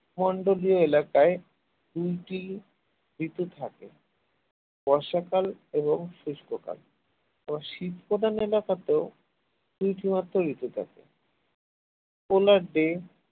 এলাকায় দুইটি ঋতু থাকে বর্ষাকাল এবং গ্রীষ্মকাল এবার শীত প্রধান এলাকাতেও দুইটি মাত্র ঋতু থাকে